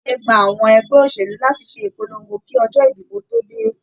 Ààyè gbà àwọn ẹgbẹ́ òṣèlú láti ṣe ìpolongo kí ọjọ́ ìdìbò tó dé.